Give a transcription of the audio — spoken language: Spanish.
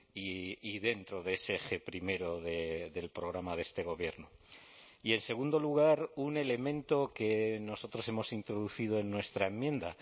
y dentro de ese eje primero del programa de este gobierno y en segundo lugar un elemento que nosotros hemos introducido en nuestra enmienda